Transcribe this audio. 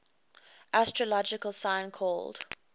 astrological sign called